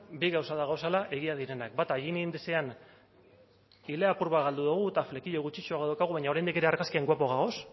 bi gauza daudela egia direnak bata egin ile apur bat galdu dugu eta flequillo gutxixeago daukagu baina oraindik ere argazkian guapo gaude